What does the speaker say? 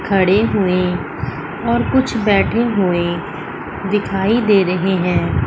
खड़े हुएं और कुछ बैठे हुएं दिखाई दे रहे हैं।